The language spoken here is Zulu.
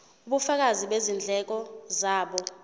ubufakazi bezindleko zabo